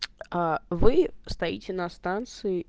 а вы стоите на станции